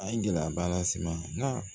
A ye gɛlɛyaba las'i ma nka